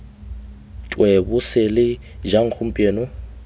twe bo sele jang gompieno